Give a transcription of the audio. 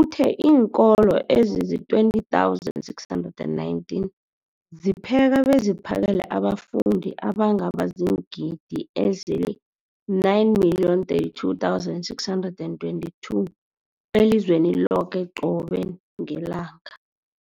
uthe iinkolo ezizi-20 619 zipheka beziphakele abafundi abangaba ziingidi ezili-9 032 622 elizweni loke qobe ngelanga.